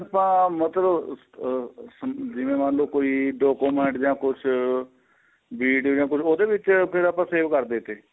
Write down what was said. ਆਪਾਂ ਮਤਲਬ ਆਹ ਜਿਵੇ ਮੰਨਲੋ ਕੋਈ document ਜਾਂ ਕੁੱਛ video ਜਾਂ ਕੁੱਛ ਉਹਦੇ ਵਿੱਚ ਫ਼ੇਰ ਆਪਾਂ save ਕਰਦੇ ਤੇ